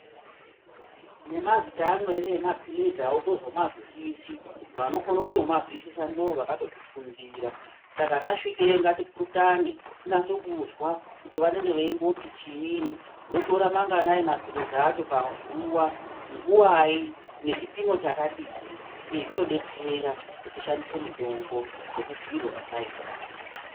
Nemazita amweni emaphilizi hautozomazwisisi. Vanokono kutomazwisisa ndovakatozvifundira, saka tasvikeyo ngatipurutane, tinase kuzwa kuti vanenge veimboti chiini, ndotora manganai maphilizi acho pazuwa, nguwai, nechipimo chakadii? Izvi zvinodetsera kuti tishandise mitombo sekubhuyirwa kwataita.